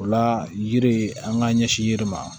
O la yiri an k'an ɲɛsin yiri ma